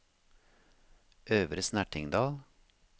Øvre Snertingdal